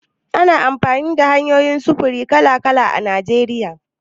Ana amfani da hanyoyin sufuri kala-kala a Najeriya.